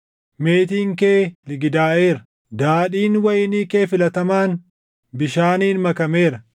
Meetiin kee ligidaaʼeera; daadhiin wayinii kee filatamaan bishaaniin makameera.